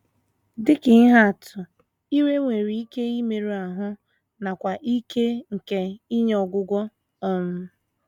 Dị ka ihe atụ, ire nwere ike nke imerụ ahụ nakwa ike nke inye ọgwụgwọ. um